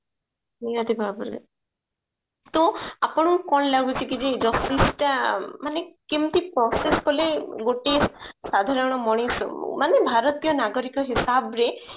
ନିହାତି ଭାବରେ ତ ଆପଣଙ୍କୁ କଣ ଲାଗୁଛି କି ଯେ justice ଟା ମାନେ କେମିତି process କଲେ ଗୋଟେ ସାଧାରଣ ମଣିଷ ମାନେ ଭାରତୀୟ ନାଗରିକ ହିସାବରେ